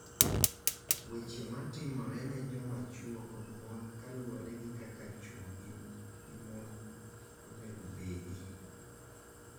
Weche matimore ne joma chwo kod mon kaluwore gi kaka chwo gi mon onego obedi,